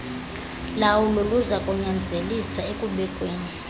lawulo luzakunyanzelisa ekubekweni